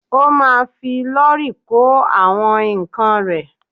Ó ma fi lọ́rì kó àwọn ǹkan rẹ̀.